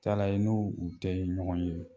Taala ye n'u tɛ ɲɔgɔn ye